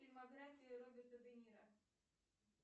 фильмография роберта де ниро